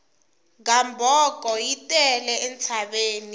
gamboko yi tele entshaveni liya